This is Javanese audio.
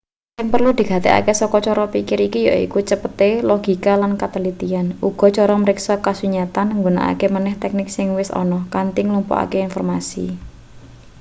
sing perlu digatekake saka cara pikir iki yaiku cepete logika lan katelitian uga cara mriksa kasunyatan nggunakake maneh teknik sing wis ana kanthi nglumpukake informasi